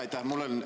Aitäh!